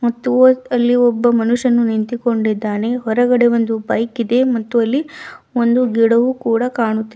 ಅಲ್ಲಿ ಒಬ್ಬ ಮನುಷ್ಯನು ನಿಂತುಕೊಂಡಿದ್ದಾನೆ ಹೊರಗಡೆ ಒಂದು ಬೈಕ್ ಇದೆ ಮತ್ತು ಅಲ್ಲಿ ಒಂದು ಗಿಡವೂ ಕೂಡ ಕಾಣುತ್ತಿ --